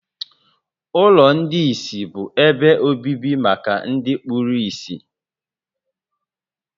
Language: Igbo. Ụlọ ndị ìsì bụ ebe obibi maka ndị kpuru ìsì